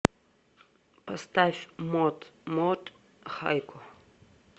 поставь мот мот хайко